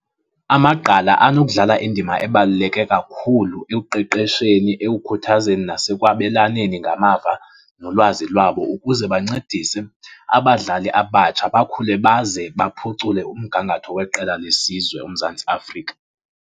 Amagqala anokudlala indima ebaluleke kakhulu ekuqeqesheni, ekukhuthazeni nasekwabelaneni ngamava nolwazi lwabo ukuze bancedise abadlali abatsha bakhule baze baphucule umgangatho weqela lesizwe uMzantsi Afrika.